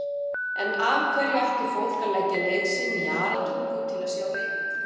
En af hverju ætti fólk að leggja leið sína í Aratungu til að sjá leikritið?